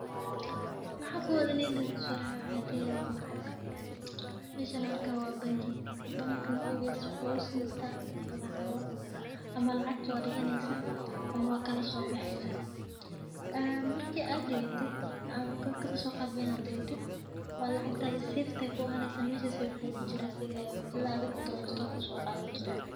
Waxaa kowad oo maskaxdeyda kusodacaya waa lacageshan an arki hayo waa lacag waxee kujirtaa banngi waa ladigta lacag lacagtasha safe ayey ku ahaneysa marka aa rabto aya soqadhani.